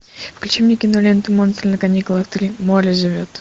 включи мне киноленту монстры на каникулах три море зовет